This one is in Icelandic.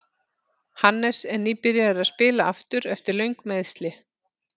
Hannes er nýbyrjaður að spila aftur eftir löng meiðsli.